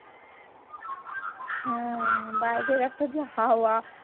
হ্যাঁ বাইরের একটা যে হাওয়া